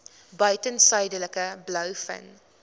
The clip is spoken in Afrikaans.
buiten suidelike blouvin